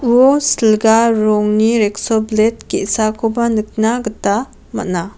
silga rongni rekso blet ge·sakoba nikna gita man·a.